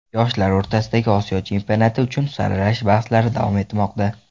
Yoshlar o‘rtasidagi Osiyo chempionati uchun saralash bahslari davom etmoqda.